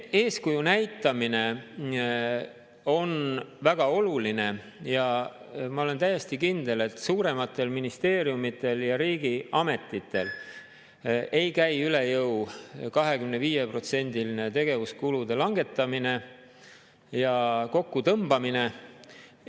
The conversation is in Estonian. Eeskuju näitamine on väga oluline ja ma olen täiesti kindel, et suurematel ministeeriumidel ja riigiametitel ei käi üle jõu 25%-line tegevuskulude langetamine ja kokkutõmbamine.